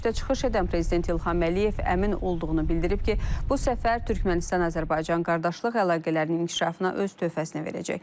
Görüşdə çıxış edən Prezident İlham Əliyev əmin olduğunu bildirib ki, bu səfər Türkmənistan-Azərbaycan qardaşlıq əlaqələrinin inkişafına öz töhfəsini verəcək.